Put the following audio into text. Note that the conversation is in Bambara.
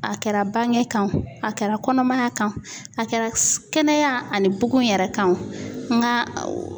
A kɛra bange kan o a kɛra kɔnɔmaya kan o a kɛra kɛnɛya ani bugun yɛrɛ kan o n ka o